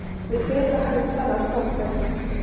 Við Grétar höfðum farið á stofnfund